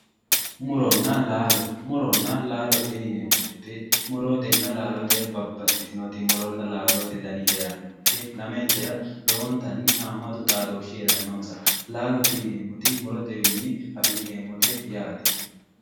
Muronna laalo, muronna laalote yinneemmo woyte muronna laalote babbaxitinoti laalote danni heerano, lamentera lowontanni haamatu xaadoshi heeranonsa, laalote yinneemmo woyte murotewinni afi'neemmote yaate.